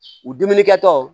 U dumuni kɛtɔ